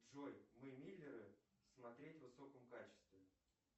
джой мы миллеры смотреть в высоком качестве